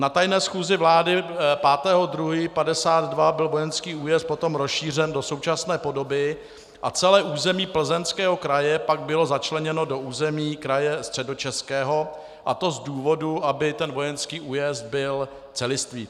Na tajné schůzi vlády 5. 2. 1952 byl vojenský újezd potom rozšířen do současné podoby a celé území Plzeňského kraje pak bylo začleněno do území kraje Středočeského, a to z důvodu, aby ten vojenský újezd byl celistvý.